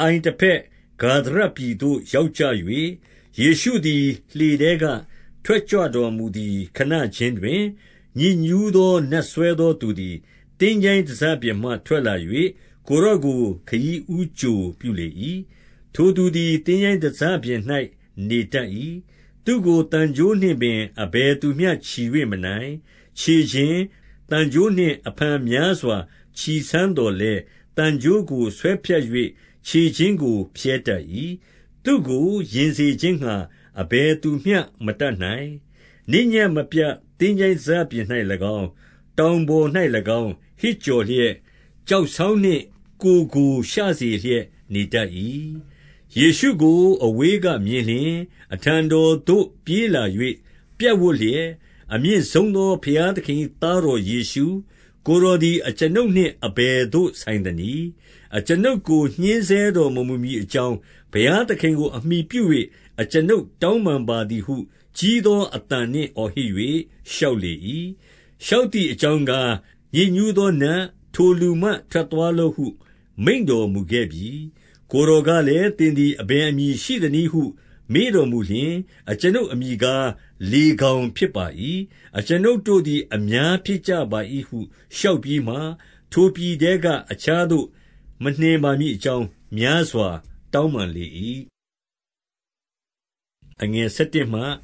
အိုင်တဘက်၊ ဂါဒရပြည်သို့ ရောက်ကြ၍၊ 2 ယေရှုသည် လှေထဲကထွက်ကြွတော်မူသည် ခဏခြင်းတွင်၊ ညစ်ညူးသောနတ်စွဲသောသူသည် သင်္ချိုင်း တစပြင်မှ ထွက်လာ၍ ကိုယ်တော်ကိုခရီးဦးကြိုပြုလေ၏။ 3 ထိုသူသည် သင်္ချိုင်းတစပြင်၌ နေတတ်၏။ သူ့ကို သံကြိုးနှင့်ပင် အဘယ်သူမျှ ချည်၍မနိုင်။ 4 ခြေချင်း၊ သံကြိုးနှင့် အဖန်များစွာ ချည်စမ်းသော်လည်း၊ သံကြိုးကိုဆွဲဖြတ်၍ ခြေချင်းကိုဖြဲတတ်၏။ သူ့ကို ယဉ်စေခြင်းငှါ အဘယ်သူမျှမတတ်နိုင်။ 5 နေ့ညဉ့်မပြတ် သင်္ချိုင်းတစပြင်၌၎င်း၊ တောင်ပေါ်၌၎င်း၊ ဟစ်ကြော်လျက်၊ ကျောက်စောင်းနှင့် ကိုယ်ကို ရှုစေလျက် နေတတ်၏။ 6 ယေရှုကိုအဝေးကမြင်လျှင်၊ အထံတော်သို့ ပြေးလာ၍ ပြပ်ဝပ်လျက်၊ 7 အမြင့်ဆုံးသော ဘုရားသခင်၏သားတော်ယေရှု၊ ကိုယ်တော်သည် အကျွန်ုပ်နှင့်အဘယ်သို့ ဆိုင် သနည်း။ အကျွန်ုပ်ကို ညှဉ်းဆဲတော်မမူမည်အကြောင်း ဘုရားသခင်ကိုအမှီပြု၍ အကျွန်ုပ်တောင်းပန် ပါသည်ဟု ကြီးသောအသံနှင့် အော်ဟစ်၍ လျှောက်လေ၏။ 8 လျှောက်သည်အကြောင်းကား၊ ညစ်ညူးသောနတ်၊ ထိုလူမှ ထွက်သွားလော့ဟု မိန့်တော်မူခဲ့ပြီ။ 9 ကိုယ်တော်ကလည်း၊ သင်သည် အဘယ်အမည် ရှိသနည်းဟုမေးတော်မူလျှင်၊ အကျွန်ုပ်အမည်ကား၊ လေဂေါင်ဖြစ်ပါ၏။ အကျွန်ုပ်တို့သည် အများဖြစ်ကြပါ၏ဟု လျှောက်ပြီးမှ၊ 10 ထိုပြည်ထဲက အခြားသို့မနှင့်ပါမည်အကြောင်း များစွာတောင်းပန်လေ၏။ 11